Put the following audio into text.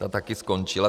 Ta taky skončila.